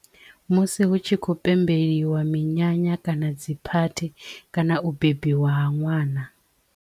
Musi hu tshi khou pembeliwa minyanya kana dzi phathi kana u bebiwa ha ṅwana.